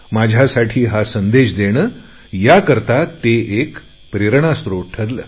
माझ्यासाठी हा संदेश देणे याकरता ते एक प्रेरणा स्रोत ठरले